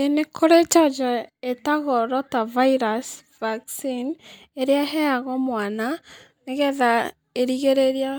Ĩĩ, nĩ kurĩ njanjo ĩtagwo Rotavirus Vaccine, ĩrĩa ĩheagwo mwana nĩ getha ĩrigĩrĩrie